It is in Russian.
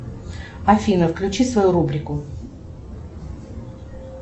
афина включи свою рубрику